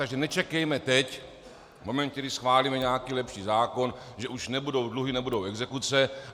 Takže nečekejme teď, v momentě, kdy schválíme nějaký lepší zákon, že už nebudou dluhy, nebudou exekuce.